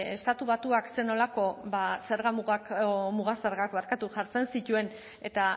estatu batuak zer nolako ba zerga mugak o muga zergak barkatu jartzen zituen eta